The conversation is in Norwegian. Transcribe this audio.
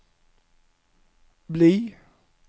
bli